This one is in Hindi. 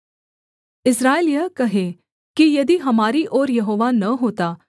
इस्राएल यह कहे कि यदि हमारी ओर यहोवा न होता